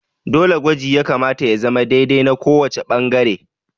Dole gwaji ya kamata ya zama dai dai na kowace ɓangare